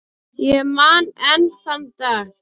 Ég man enn þann dag.